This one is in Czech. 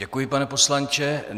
Děkuji, pane poslanče.